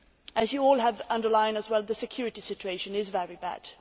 As you all have underlined as well, the security situation is very bad.